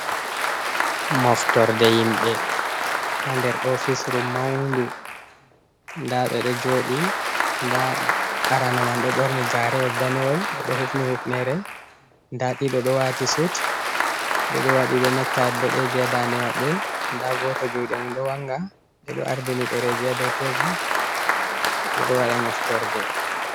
Moftorde himɓe ha nder ofisru maundu, nda ɓe ɗo jooɗi nda arano man ɗo ɓorni gaarewol danewol, ɗo hufni hufnere nda ɗiɗo ɗo waati sut, ɓe ɗo waɗi be nectai boɗeeji ha dande maɓɓe, nda gooto juuɗe mum ɗo wanga ɓe ɗo ardini ɗereeji ha dow tebul, ɓe ɗo waɗa moftorde.